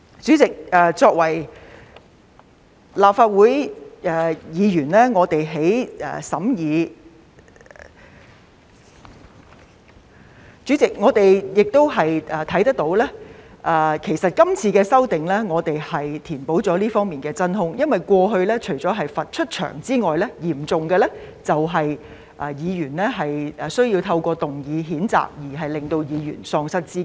主席，作為立法會議員，我們在審議......主席，我們也看到今次修訂填補了這方面的真空，因為過去除了罰有關議員離場外，最嚴重的就是透過譴責議案，使議員喪失資格。